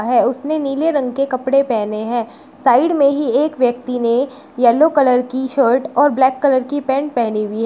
है उसने नीले रंग के कपड़े पहने हैं साइड में ही एक व्यक्ति ने येलो कलर की शर्ट और ब्लैक कलर की पैंट पहनी हुई है।